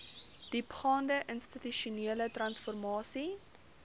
diepgaande institusionele transformasie